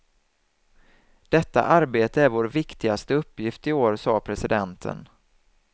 Detta arbete är vår viktigaste uppgift i år, sade presidenten.